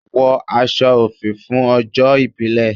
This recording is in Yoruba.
Wọ aṣọ òfì fún ọjọ́ ìbílè!